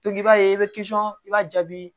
i b'a ye i bɛ i b'a jaabi